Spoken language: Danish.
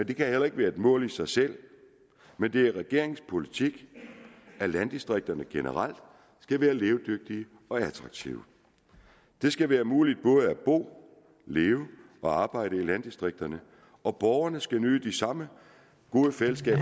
det kan heller ikke være et mål i sig selv men det er regeringens politik at landdistrikterne generelt skal være levedygtige og attraktive det skal være muligt både at bo leve og arbejde i landdistrikterne og borgerne skal nyde det samme gode fællesskab